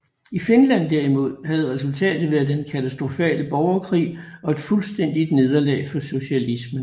I Finland derimod havde resultatet været den katastrofale borgerkrig og et fuldstændigt nederlag for socialismen